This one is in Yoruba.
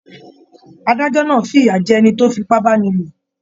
Adájọ náà f'iya jẹ ẹni tó f'ipa báníló.